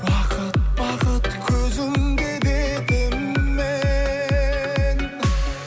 уақыт бақыт көзіңде дедім мен